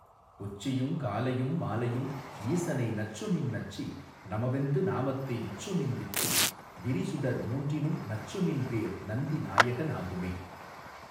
உச்சியுங் காலையும் மாலையும் ஈசனை நச்சுமின் நச்சி நமவென்று நாமத்தை விச்சுமின் விச்சி விரிசுடர் மூன்றினும் நச்சுமின் பேர் நந்தி நாயகனாகுமே.